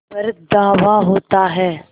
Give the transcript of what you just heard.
पर धावा होता है